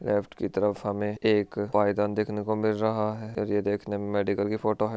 Left की तरफ हमे एक पाइदान देख ने को मिल रहा है ये देख ने मे मेडिकल की फोटो है।